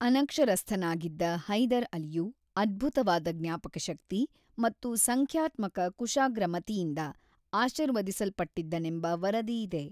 ಅನಕ್ಷರಸ್ಥನಾಗಿದ್ದ ಹೈದರ್ ಅಲಿಯು ಅದ್ಭುತವಾದ ಜ್ಞಾಪಕಶಕ್ತಿ ಮತ್ತು ಸಂಖ್ಯಾತ್ಮಕ ಕುಶಾಗ್ರಮತಿಯಿಂದ ಆಶೀರ್ವದಿಸಲ್ಪಟ್ಟದ್ದನೆಂಬ ವರದಿಯಿದೆ.